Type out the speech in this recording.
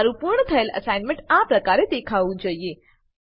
તમારું પૂર્ણ થયેલ એસાઈનમેંટ આ પ્રકારે દેખાવું જોઈએ